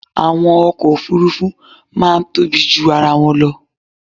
Àwọn ọkọ̀ Òfurufú máa tóbi ju ara wọn lọ.